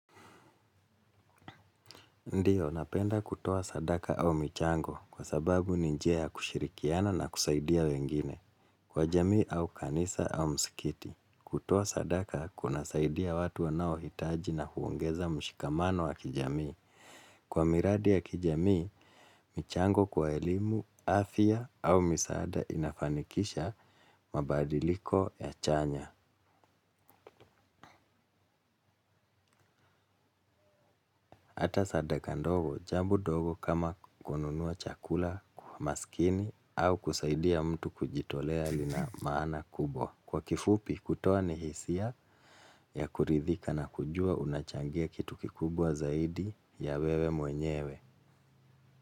Ndiyo, napenda kutuwo sadaka au michango kwa sababu ninjia ya kushirikiana na kusaidia wengine, kwa jamii au kanisa au msikiti. Kutowa sadaka kunasaidia watu wanao hitaji na huongeza mshikamano wa kijamii. Kwa miradi ya kijamii, michango kwa elimu, afya au misahada inafanikisha mabadiliko ya chanya. Hata sadaka ndogo, jambo dogo kama kununua chakula kwa maskini au kusaidia mtu kujitolea lina maana kubwa. Kwa kifupi, kutoa ni hisia ya kuridhika na kujua unachangia kitu kikubwa zaidi ya wewe mwenyewe.